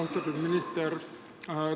Austatud minister!